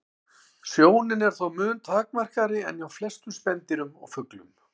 Sjónin er þó mun takmarkaðri en hjá flestum spendýrum og fuglum.